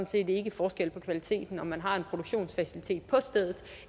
set ikke forskel på kvaliteten om man har en produktionsfacilitet på stedet